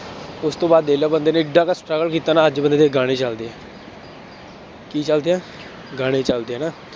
ਉਸ ਤੋਂ ਬਾਅਦ ਦੇਖ ਲਾ ਬੰਦੇ ਨੇ ਐਡਾ ਕੁ struggle ਕੀਤਾ ਨਾ, ਅੱਜ ਬੰਦੇ ਦੇ ਗਾਣੇ ਚੱਲਦੇ ਹੈ ਕੀ ਚੱਲਦੇ ਹੈ, ਗਾਣੇ ਚੱਲਦੇ ਹੈ ਨਾ।